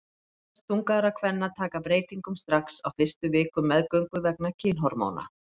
Brjóst þungaðra kvenna taka breytingum strax á fyrstu vikum meðgöngu vegna kynhormóna.